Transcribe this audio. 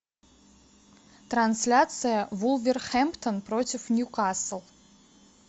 трансляция вулверхэмптон против ньюкасл